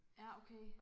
Ja okay